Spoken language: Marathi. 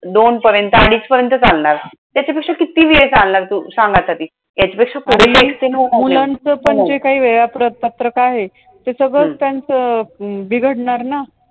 दोन पर्यंत अडीचपर्यंत चालणार. त्याच्यापेक्षा किती वेळ चालणार तू? सांग आता ती. त्यापेक्षा पुढे काही आणि मुलांचं जे काही वेळ, वेळापत्रक आहे. ते सगळंच त्यांच हम्म बिघडणार ना.